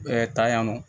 tan yan nɔ